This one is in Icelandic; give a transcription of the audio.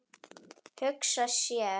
Hugsa sér!